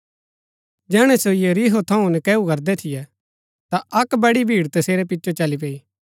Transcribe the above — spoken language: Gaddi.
जैहणै सो यरीहो थऊँ नकैऊ करदै थियै ता अक्क बड़ी भीड़ तसेरै पिचो चली पैई